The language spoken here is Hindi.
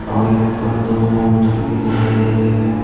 और यहां पर दो काउंटर भी दिखाई दे रहे हैं।